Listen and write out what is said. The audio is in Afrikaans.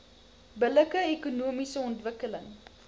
billike ekonomiese ontwikkeling